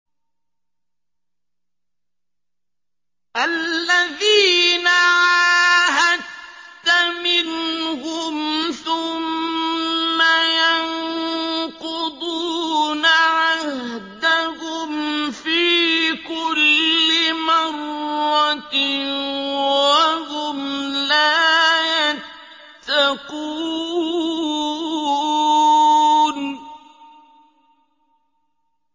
الَّذِينَ عَاهَدتَّ مِنْهُمْ ثُمَّ يَنقُضُونَ عَهْدَهُمْ فِي كُلِّ مَرَّةٍ وَهُمْ لَا يَتَّقُونَ